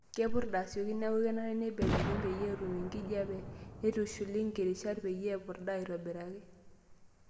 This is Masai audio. Kepurda asioki neaku kenare neibelekenyi peyie etum enkijiape neitushuli nkirishat peyie epurda aitobiraki.